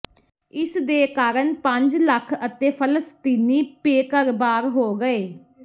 ਇਸ ਦੇ ਕਾਰਨ ਪੰਜ ਲੱਖ ਅਤੇ ਫਲਸਤੀਨੀ ਬੇਘਰਬਾਰ ਹੋ ਗਏ